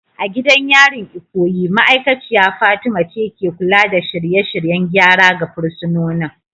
A gidan yarin Ikoyi, ma'aikaciya Fatima ce ke kula da shirye-shiryen gyara ga fursunonin.